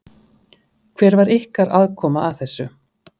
Hver var ykkar aðkoma að þessu?